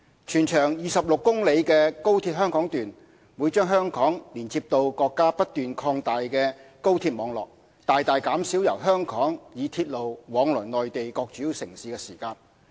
全長26公里的高鐵香港段，會把香港連接至國家不斷擴大的高鐵網絡，大大減少由香港以鐵路往來內地各主要城市的時間。